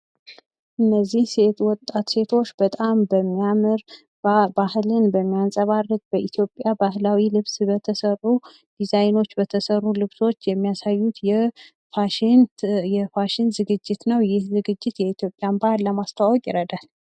እነዚህ ወጣት ሴቶች በጣም በሚያምር ባህልን በማንጸባረቅ በኢትዮጵያ ባህላዊ ልብስ በተሰሩ ዲዛይኖች በተሰሩ ልብሶች የሚያሳዩት የፋሽን ዝግጅት ነው። ይህ ዝግጅት የኢትዮጵያን ባህል ለማስተዋውቅ ይረዳል።